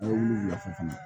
A ye wulu lafili